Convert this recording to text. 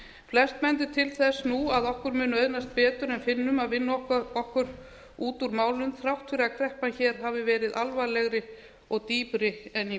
flest bendir á þess nú að okkur muni auðnast benti en finnum að vinna okkur út úr málum þrátt fyrir að kreppan hér hafi verið alvarlegri og dýpri en í